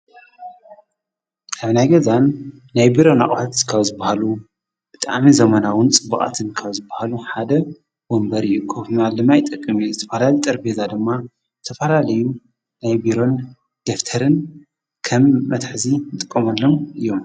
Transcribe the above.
ኣብ ናይ ገዛን ናይብሮ ኣቕሁት ዝካብዝበሃሉ ብጥኣሜ ዘመናውን ጽብቓትን ካብዝበሃሉ ሓደ ወንበር የቆፍና ልማይ ጠቕምት ዝተፈላሊ ጠር ቤዛ ድማ ተፈላለዩ ናይብሮን ደፍተርን ከም መትሕዚ ንጥቆመሎም እዮ::